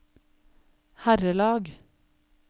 herrelag